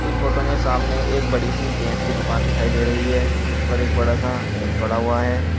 इस फोटो में सामने एक बड़ी सी पेंट की दुकान दिखाई दे रही है जिस पर एक बड़ा सा मेज पड़ा हुआ है।